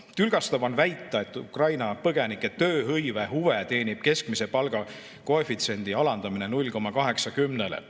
Tülgastav on väita, et Ukraina põgenike tööhõive huve teenib keskmise palga koefitsiendi alandamine 0,8-le.